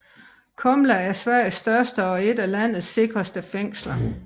Kumla er Sveriges største og et af landets sikreste fængsler